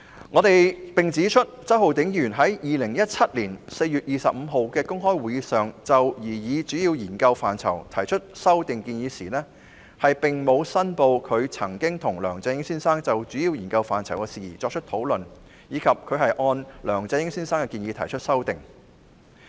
我們亦指出，周浩鼎議員在2017年4月25日的公開會議上就擬議主要研究範疇提出修訂建議時，並沒有申報他曾和梁振英先生就主要研究範疇的事宜作出討論，以及他是按梁先生的建議提出修訂。